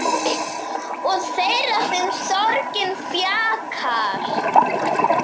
Og þeirra sem sorgin þjakar.